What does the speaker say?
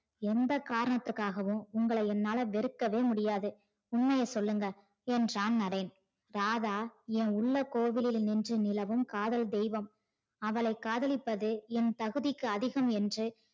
எந்த காரணத்துக்காகவும் உங்கள என்னால வெறுக்கவே முடியாது, உண்மையை சொல்லுங்க என்றான் நரேன் ராதா என் உள்ள கோவிலில் நின்று நிலவும் காதல் தெய்வம் அவளை காதலிப்பது என் தகுதிக்கு அதிகம் என்று